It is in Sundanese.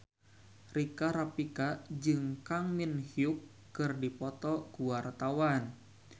Rika Rafika jeung Kang Min Hyuk keur dipoto ku wartawan